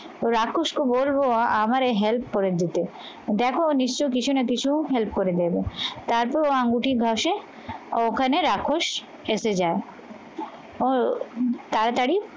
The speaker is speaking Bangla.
তো রাক্ষসকে বলবো আমার এই help করে দিতে দেখো নিশ্চই কিছু না কিছু help করে দেবে. তারপর ও আঙ্গুটির ঘসে ও ওখানে রাক্ষস এসে যায় তাড়াতাড়ি